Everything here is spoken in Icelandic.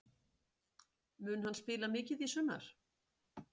Mun hann spila mikið í sumar?